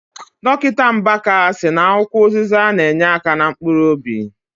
Dọkịta Mbaka sị na akwụkwọ ụzịza na- enyeaka na mkpuruobi.